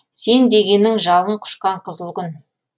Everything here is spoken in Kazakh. сен дегенің жалын құшқан қызыл күн